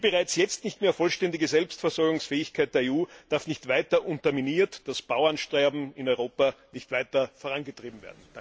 Die bereits jetzt nicht mehr vollständige Selbstversorgungsfähigkeit der EU darf nicht weiter unterminiert, das Bauernsterben in Europa nicht weiter vorangetrieben werden.